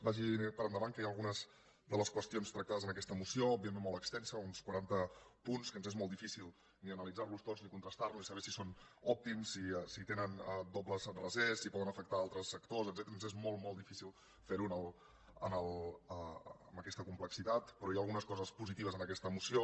vagi per endavant que hi ha algunes de les qüestions tractades en aquesta moció òbviament molt extensa uns quaranta punts que ens és molt difícil ni analitzar los tots ni contrastar los ni saber si són òptims si tenen dobles rasers si poden afectar altres sectors etcètera ens és molt molt difícil fer ho amb aquesta complexitat però hi ha algunes coses positives en aquesta moció